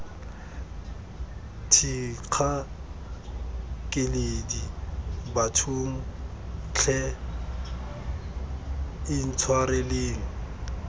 thikga keledi bathong tlhe intshwareleng